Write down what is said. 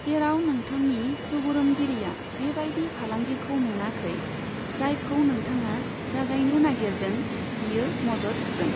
जेराव नोंथांनि सुबुरुनगिरिया बेबायदि फालांगिखौ मोनाखै, जायखौ नोंथाङा जागायनो नागिरदों, बियो मदद होगोन।